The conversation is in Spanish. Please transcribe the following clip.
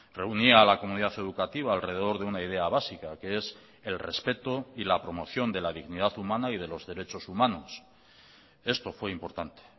reunía a la comunidad educativa alrededor de una idea básica que es el respeto y la promoción de la dignidad humana y de los derechos humanos esto fue importante